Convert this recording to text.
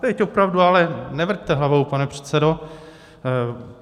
Teď opravdu - ale nevrťte hlavou, pane předsedo.